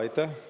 Aitäh!